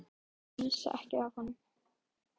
Reyndu bara að missa ekki af honum.